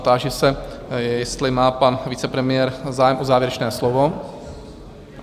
Táži se, jestli má pan vicepremiér zájem o závěrečné slovo?